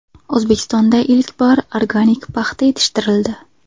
O‘zbekistonda ilk bor organik paxta yetishtirildi.